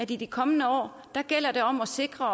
i de kommende år gælder om at sikre